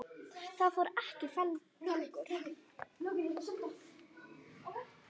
Það fór ekki í felur.